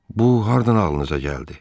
Bu hardan ağlınıza gəldi?